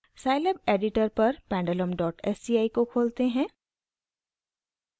scilab editor पर pendulum dot sci को खोलते हैं